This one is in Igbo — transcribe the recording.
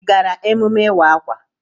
I gaara emume ịwa akwa?